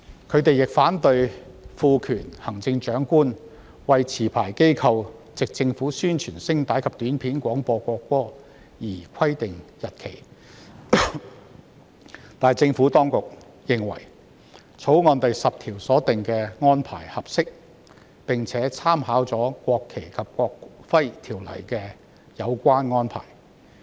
他們亦反對賦權行政長官為持牌機構藉政府宣傳聲帶及短片廣播國歌而規定日期，但政府當局認為，《條例草案》第10條所訂的安排合適，而政府當局亦參考了《國旗及國徽條例》的有關安排。